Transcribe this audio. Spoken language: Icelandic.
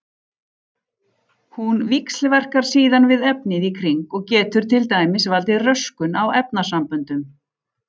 Hún víxlverkar síðan við efnið í kring og getur til dæmis valdið röskun á efnasamböndum.